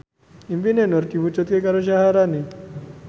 impine Nur diwujudke karo Syaharani